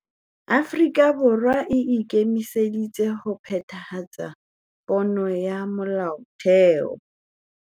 Afrika Borwa e ikemiseditse ho phethahatsa pono ya Molaotheo